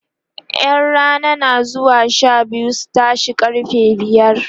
ƴan Rana na zuwa Sha biyu su tashe karfe biyar